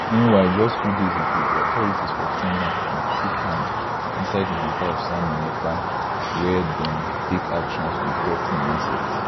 meanwhile just few days ago authorities for finland bin chook hand inside di matter of simon ekpa wia dem take actions ontop im assets